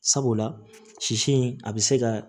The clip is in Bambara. Sabula sisi in a bi se ka